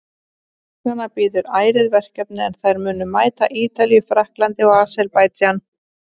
Stúlknanna bíður ærið verkefni en þær munu mæta Ítalíu, Frakklandi og Aserbaídsjan.